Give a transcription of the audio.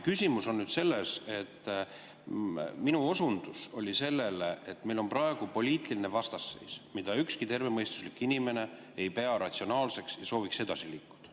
Küsimus on selles, et minu osundus oli sellele, et meil on praegu poliitiline vastasseis, mida ükski tervemõistuslik inimene ei pea ratsionaalseks, kõik sooviks edasi liikuda.